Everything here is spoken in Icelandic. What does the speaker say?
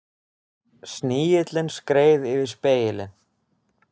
Snigillinn skreið yfir spegilinn.